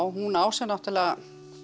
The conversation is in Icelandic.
hún á sér náttúrulega